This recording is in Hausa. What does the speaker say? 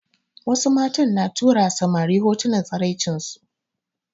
Wasu matan na turawa samari hotunan tsiraicinsu